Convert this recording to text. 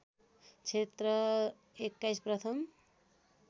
क्षेत्री २१ प्रथम